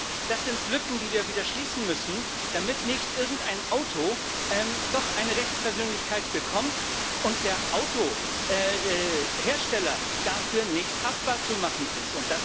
Ich denke, das sind Lücken, die wir wieder schließen müssen, damit nicht irgendein Auto doch eine Rechtspersönlichkeit bekommt und der Hersteller dafür nicht haftbar zu machen ist.